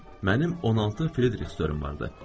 Mənim 16 Fridrixüm vardı.